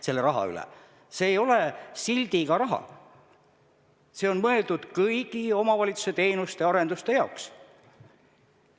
See ei ole sildiga raha, see on mõeldud kõigi omavalitsuse teenuste-arenduste jaoks.